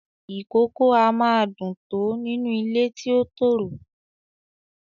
Ìkókó a máa dùn-ún tọ́ nínú ilé ti ó tòrò